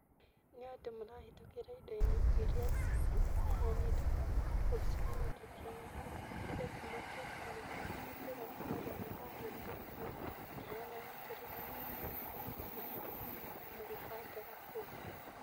Nĩ andũ marahĩtũkĩra indo -inĩ iria ciheanĩtwo kũu supamaketi-inĩ nĩ getha matare na meke mathabu, kwoguo nĩ kũaria mararia magĩthekaga, makĩheanaga tũrũgano, magĩthekaga, magĩbangaga kũu.